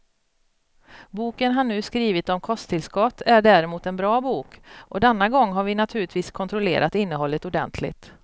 Boken han nu skrivit om kosttillskott är däremot en bra bok, och denna gång har vi naturligtvis kontrollerat innehållet ordentligt.